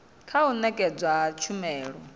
kha u nekedzwa ha tshumelo